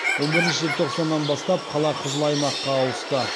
он бірінші желтоқсаннан бастап қала қызыл аймаққа ауысты